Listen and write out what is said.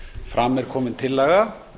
fram er komin tillaga